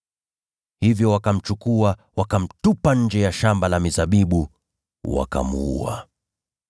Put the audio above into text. Hivyo wakamchukua, wakamtupa nje ya shamba la mizabibu, wakamuua.